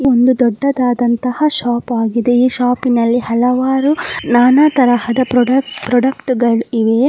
ಈ ಒಂದು ದೊಡ್ಡದಾದಂತಹ ಶಾಪ್ ಆಗಿದೆ ಈ ಶಾಪಿ ನಲ್ಲಿ ಹಲವಾರು ನಾನ ತರಹದ ಪ್ರಾಡಕ್ಟ್ ಪ್ರಾಡಕ್ಟ್ಗಳು ಇವೆ.